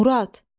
Murad!